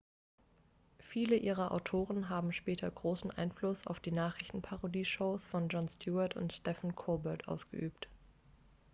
viele ihrer autoren haben später großen einfluss auf die nachrichtenparodie-shows von jon stewart and stephen colbert ausgeübt